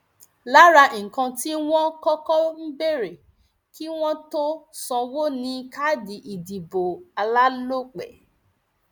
lára nǹkan tí wọn kọkọ ń béèrè kí wọn tóó sanwó ni káàdì ìdìbò alálòpẹ